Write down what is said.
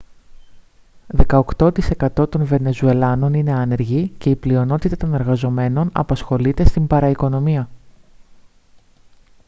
δεκαοκτώ τοις εκατό των βενεζουελάνων είναι άνεργοι και οι η πλειονότητα των εργαζομένων απασχολείται στην παραοικονομία